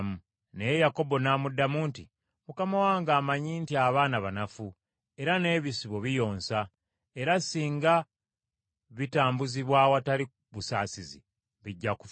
Naye Yakobo n’amuddamu nti, “Mukama wange amanyi nti abaana banafu, era n’ebisibo biyonsa, era singa bitambuzibwa awatali busaasizi bijja kufa.